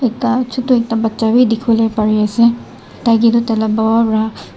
ekta chutu ekta bacha beh dekhe bole bare ase tai ketu tai la papa bera--